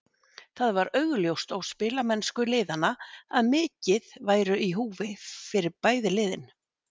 Það var augljóst á spilamennsku liðanna að mikið væru í húfi fyrir bæði lið.